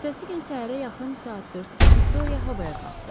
Ertəsi gün səhərə yaxın saat 4-də Viktoriya havaya qalxdı.